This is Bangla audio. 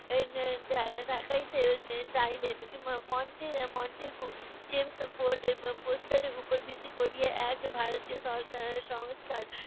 ঠে~ ঠেকাইতে চাইলেন। মন্টেগু চেমসফোর্ডের প্রস্তাবের উপর ভিত্তি করিয়া এক ভারতীয় সংস্কা~ সংস্কার